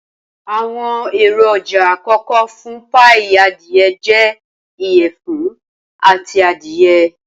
Awọn eroja akọkọ fun paii adie jẹ iyẹfun ati adiye.